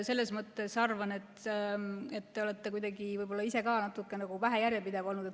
Selles mõttes ma arvan, et te olete ise ka natuke vähe järjepidev olnud.